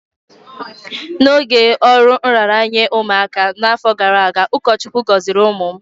n’oge ọrụ nraranye ụmụaka n’afọ gara aga, ụkọchukwu gọziri ụmụ m